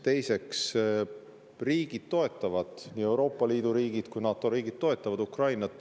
Teiseks, riigid toetavad, nii Euroopa Liidu riigid kui ka NATO riigid, Ukrainat.